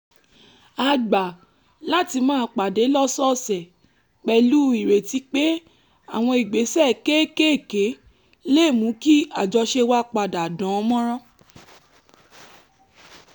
a gbà láti máa pàdé lọ́sọ̀ọ̀sẹ̀ pẹ̀lú ìrètí pé àwọn ìgbésẹ̀ kéékèèké lè mú kí àjọṣe wa padà dán mọ́rán